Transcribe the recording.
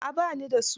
A'a ba ni da su.